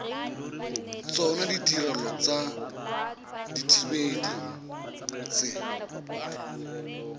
tsona ditirelo tsa dithibedi tse